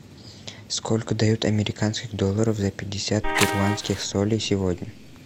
сколько дают американских долларов за пятьдесят перуанских солей сегодня